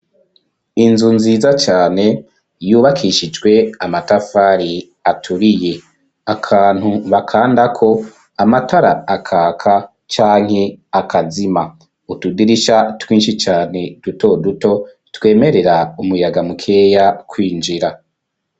Inzu nziza cane yubakishijwe amatafari aturiye akantu bakandako amatara akaka canke akazima utudirisha twinshi cane dutoduto twemerera umuyaga mukeya kwinjira.